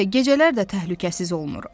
Əlbəttə, gecələr də təhlükəsiz olmur.